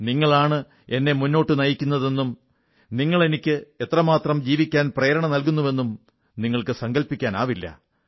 നിങ്ങളാണ് എന്നെ മുന്നോട്ടു നയിക്കുന്നുതെന്നും നിങ്ങളെന്നെ അനുനിമിഷം പ്രാണനോടെ നിലനിർത്തുന്നുവെന്നും നിങ്ങൾക്ക് സങ്കല്പിക്കാനാവില്ല